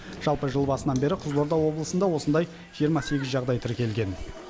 жалпы жыл басынан бері қызылорда облысында осындай жиырма сегіз жағдай тіркелген